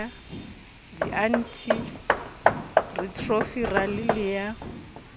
di anti retroviral le ya